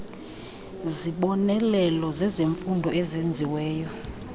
zibonelelo zezemfundo ezenziweyo